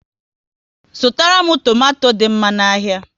Zụtara m tomato dị mma n'ahia